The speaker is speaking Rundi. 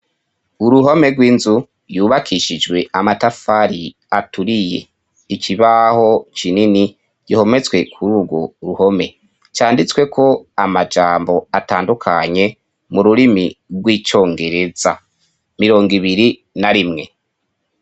Uruhome rw'inzu yubakishijwe amatafari aturiye, ikibaho kinini gihometswe kur' urwo ruhome canditswe ko amajambo atandukanye mu rurimi rw'icongereza ,mirong' ibiri na rimwe.